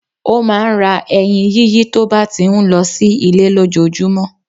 Ó máa n ra eyin yíyí tó bá ti n lo sí Ilé lójojúmó